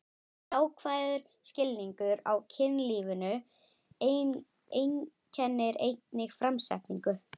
Jákvæður skilningur á kynlífinu einkennir einnig framsetningu